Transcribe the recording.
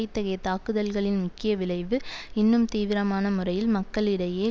இத்தகைய தாக்குதல்களின் முக்கிய விளைவு இன்னும் தீவிரமான முறையில் மக்களிடையே